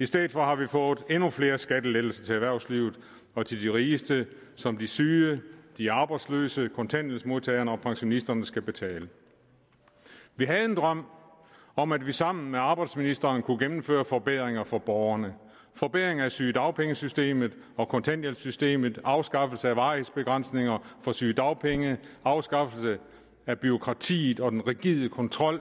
i stedet for har vi fået endnu flere skattelettelser til erhvervslivet og til de rigeste som de syge de arbejdsløse kontanthjælpsmodtagerne og pensionisterne skal betale vi havde en drøm om at vi sammen med arbejdsministeren kunne gennemføre forbedringer for borgerne forbedringer i sygedagpengesystemet og kontanthjælpssystemet afskaffelse af varighedsbegrænsninger for sygedagpenge afskaffelse af bureaukratiet og den rigide kontrol